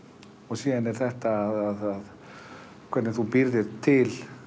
síðan er það þetta hvernig þú býrð til